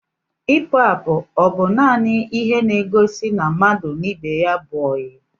Ipu apụ ọ bu nanị ihe n'egosi na mmadụ na ibe ya bú oyi?